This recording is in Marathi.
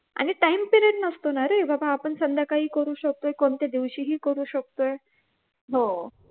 आणि time period नसतो ना रे बाबा आपण संध्याकाळी करू शकतो कोणत्या दिवशीही करू शकतोय